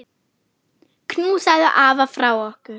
Knúsaðu afa frá okkur.